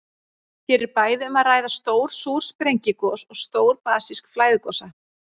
Hér er bæði um að ræða stór súr sprengigos og stór basísk flæðigosa.